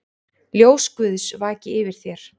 Ljós Guðs vaki yfir þér.